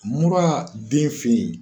Mun b'a den fili.